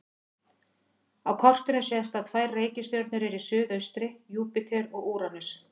Á kortinu sést að tvær reikistjörnur eru í suðaustri: Júpíter og Úranus.